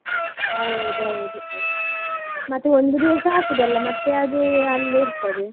ಹೌದೌದು ಮತ್ತೆ ಒಂದು ದಿವಸ ಹಾಕುದಲ್ಲ, ಮತ್ತೆ ಅದು ಅಲ್ಲೇ ಇರ್ತದೆ.